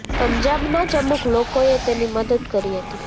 પંજાબના જ અમુક લોકોએ તેની મદદ કરી હતી